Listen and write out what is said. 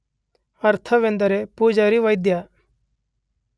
ಅಥರ್ವ ಎಂದರೆ ಪುಜಾರಿವೈದ್ಯ.